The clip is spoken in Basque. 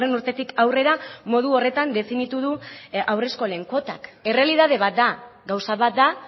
urtetik aurrera modu horretan definitu du haurreskolen kuotak errealitate bat da gauza bat da